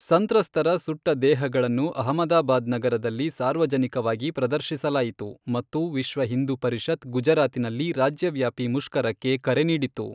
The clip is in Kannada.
ಸಂತ್ರಸ್ತರ ಸುಟ್ಟ ದೇಹಗಳನ್ನು ಅಹಮದಾಬಾದ್ ನಗರದಲ್ಲಿ ಸಾರ್ವಜನಿಕವಾಗಿ ಪ್ರದರ್ಶಿಸಲಾಯಿತು ಮತ್ತು ವಿಶ್ವ ಹಿಂದೂ ಪರಿಷತ್ ಗುಜರಾತಿನಲ್ಲಿ ರಾಜ್ಯವ್ಯಾಪಿ ಮುಷ್ಕರಕ್ಕೆ ಕರೆ ನೀಡಿತು.